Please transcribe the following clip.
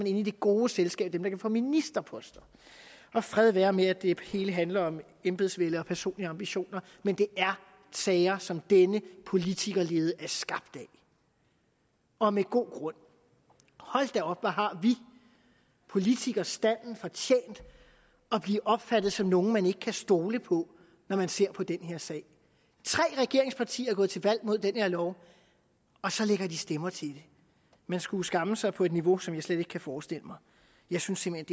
inde i det gode selskab af dem der kan få ministerposter fred være med at det hele handler om embedsvælde og personlige ambitioner men det er sager som denne politikerlede er skabt af og med god grund hold da op hvor har vi politikerstanden fortjent at blive opfattet som nogle man ikke kan stole på når man ser på den her sag tre regeringspartier er gået til valg mod den her lov og så lægger de stemmer til det man skulle skamme sig på et niveau som jeg slet ikke kan forestille mig jeg synes simpelt